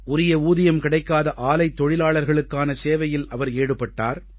உரிய ஊதியம் கிடைக்காத ஆலைத் தொழிலாளர்களுக்கான சேவையில் அவர் ஈடுபட்டார்